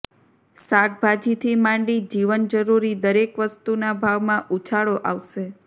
શાકભાજીથી માંડી જીવન જરૃરી દરેક વસ્તુના ભાવમાં ઉછાળો આવશે